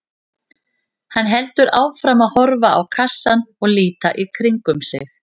Hann heldur áfram að horfa á kassann og líta í kringum sig.